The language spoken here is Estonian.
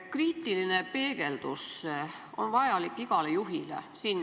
Kriitiline peegeldus on vajalik igale juhile.